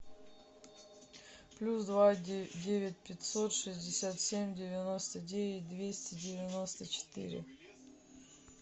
плюс два девять пятьсот шестьдесят семь девяносто девять двести девяносто четыре